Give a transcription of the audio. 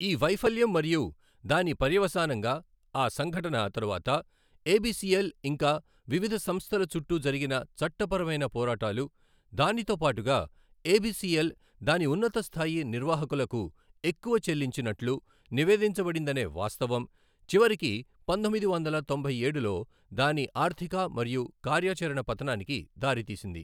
ఈ వైఫల్యం మరియు దాని పర్యవసానంగా ఆ సంఘటన తరువాత ఎబిసిఎల్ ఇంకా వివిధ సంస్థల చుట్టూ జరిగిన చట్టపరమైన పోరాటాలు, దానితో పాటుగా ఏబిసిఎల్ దాని ఉన్నత స్థాయి నిర్వాహకులకు ఎక్కువ చెల్లించినట్లు నివేదించబడిందనే వాస్తవం, చివరికి పంతొమ్మిది వందల తొంభై ఏడులో దాని ఆర్థిక మరియు కార్యాచరణ పతనానికి దారితీసింది.